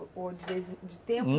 Ou de vez em de tempos